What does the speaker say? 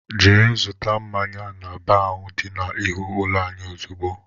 Jee zụta mmáñyá n'baar ahụ dị n'ihu ụlọ anyị ozigbo!!!!